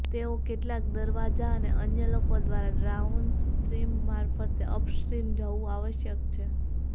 તેઓ કેટલાક દરવાજા અને અન્ય લોકો દ્વારા ડાઉનસ્ટ્રીમ મારફતે અપસ્ટ્રીમ જવું આવશ્યક છે